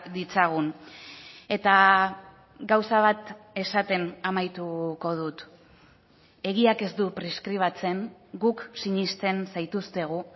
ditzagun eta gauza bat esaten amaituko dut egiak ez du preskribatzen guk sinesten zaituztegu